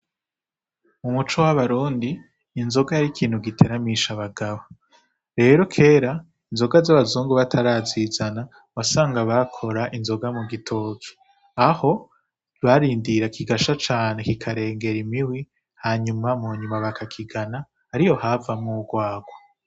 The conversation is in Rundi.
Mu muco w'abarundi inzoga yari ikintu giteramisha abagabo rero kera inzoga z'abazungu batarazizana wasanga bakora inzoga mu gitoki aho barindira kigasha cane kikarengera imihwi hanyuma mu nyuma bakakigana ari yo havamwo urwarwa.